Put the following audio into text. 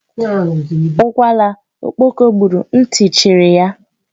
Ukwala okpoko gburu, ntị chiri ya.